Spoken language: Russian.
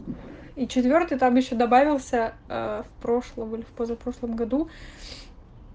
и четвёртый там ещё добавился ээ в прошлом или позапрошлом году